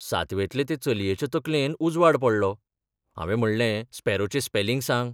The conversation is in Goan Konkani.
सातवेंतले ते चलयेच्या तकलेंत उजवाड पडलो हावें म्हणलें, स्पॅरोचें स्पेलिंग सांग.